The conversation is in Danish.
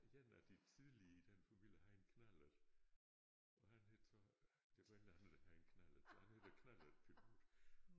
En af de tidlige i den familie havde en knallert og han hed så der var en eller anden der havde en knallert så han hed æ knallertpilot